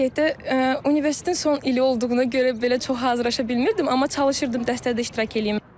Belə deyək də, universitetin son ili olduğuna görə belə çox hazırlaşa bilmirdim, amma çalışırdım dərslərdə iştirak eləyim.